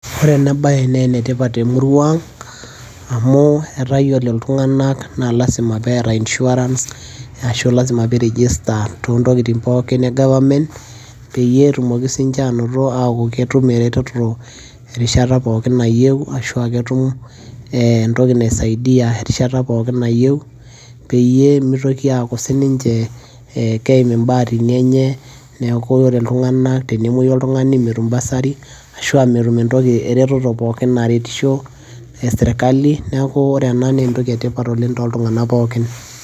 Ore ena baye naa enetipat temurua aang' amu etaa yiolo iltung'anak naa lasima pee eeta insurance ashu lasima pee i register toontokitin pookin e government peyie etumoki sininche aataa ketum eretoto erishata pooki nayieu netum entoki naisaidia erishata pookin nayieu peyie mitoki aaku sininche ekeim imbaatini enye neeku ore iltung'anak tenemouyu oltung'anai metum bursary ashu aa metum eretoto pookin esirkali, neeku ore ena naa entoki etipat oleng' toltung'anak pookin.